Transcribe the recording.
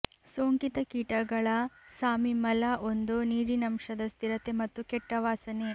ಸೋಂಕಿತ ಕೀಟಗಳ ಸಾಮಿ ಮಲ ಒಂದು ನೀರಿನಂಶದ ಸ್ಥಿರತೆ ಮತ್ತು ಕೆಟ್ಟ ವಾಸನೆ